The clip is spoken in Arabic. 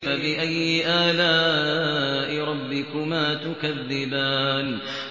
فَبِأَيِّ آلَاءِ رَبِّكُمَا تُكَذِّبَانِ